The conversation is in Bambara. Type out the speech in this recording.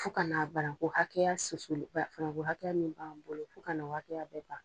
Fo kana a bananku hakɛya susuli ba bananku hakɛya min b'an bolo, fo kana o hakɛya bɛ ban.